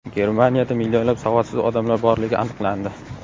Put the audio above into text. Germaniyada millionlab savodsiz odamlar borligi aniqlandi.